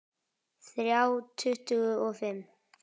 Þrjá tuttugu og fimm